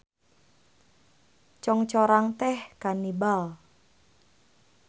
Congcorang teh kanibal.